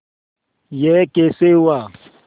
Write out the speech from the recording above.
यह कैसे हुआ